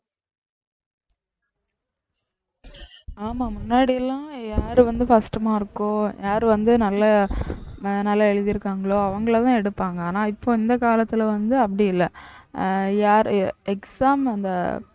ஆமா முன்னாடி எல்லாம் யாரு வந்து first mark கோ யார் வந்து நல்ல அஹ் எழுதிருக்காங்களோ அவங்களைதான் எடுப்பாங்க ஆனா இப்போ இந்த காலத்துல வந்து அப்படி இல்லை அஹ் யாரு exam அந்த